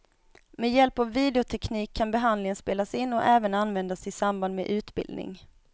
Med hjälp av videoteknik kan behandlingen spelas in och även användas i samband med utbildning.